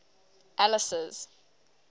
alice's